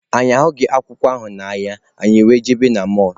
Anyị ahụghị akwụkwọ ahụ n'ahịa, anyị were jebe na mọlụ.